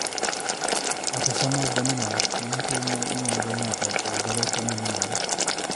Autosomal dominant ma en tuo ma inyuolo go ng'ato oyudore e famili moro.